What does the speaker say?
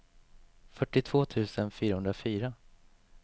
fyrtiotvå tusen fyrahundrafyra